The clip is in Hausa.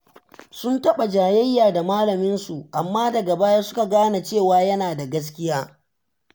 Sun taɓa jayayya da malaminsu, amma daga baya suka gane cewa yana da gaskiya.